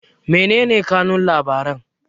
menene kanun labaran